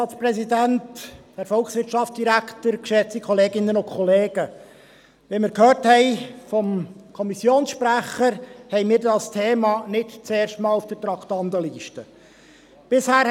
Wie wir vom Kommissionssprecher gehört haben, haben wir dieses Thema nicht zum ersten Mal auf der Traktandenliste stehen.